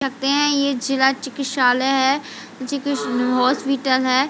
सकते है ये जिला चिकितकषालय है जी कृष्ण हॉस्पिटल है।